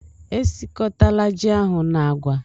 Esiọkọtala ji ahụ na agwa!